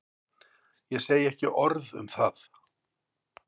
Ég segi ekki orð um það.